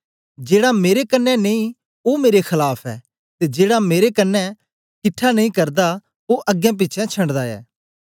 जेड़ा मेरे कन्ने नेई ओ मेरे खलाफ ऐ ते जेड़ा मेरे कन्ने किट्ठा नेई करदा ओ अगें पिछें शंडदा ऐ